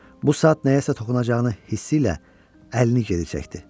Bu saat nəyəsə toxunacağını hissi ilə əlini geri çəkdi.